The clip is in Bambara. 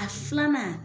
A filanan